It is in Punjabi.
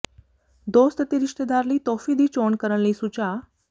ਦੋਸਤ ਅਤੇ ਰਿਸ਼ਤੇਦਾਰ ਲਈ ਤੋਹਫ਼ੇ ਦੀ ਚੋਣ ਕਰਨ ਲਈ ਸੁਝਾਅ